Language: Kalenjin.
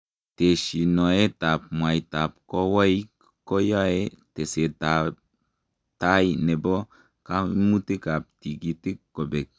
Teshinoetab mwaitab kowoik ko yae tesetab tai nebo kaimutikab tikitik kobek .